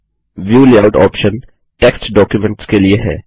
view layout option text documents के लिए है